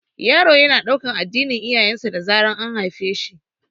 Yaro yana ɗaukan addinin iyayen sa da zaran an haife shi